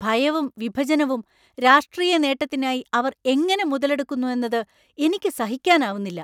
ഭയവും, വിഭജനവും രാഷ്ട്രീയ നേട്ടത്തിനായി അവർ എങ്ങനെ മുതലെടുക്കുന്നു എന്നത് എനിക്ക് സഹിക്കാനാവുന്നില്ല.